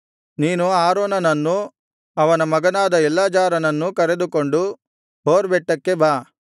ನೀನು ಆರೋನನನ್ನೂ ಅವನ ಮಗನಾದ ಎಲ್ಲಾಜಾರನನ್ನೂ ಕರೆದುಕೊಂಡು ಹೋರ್ ಬೆಟ್ಟಕ್ಕೆ ಬಾ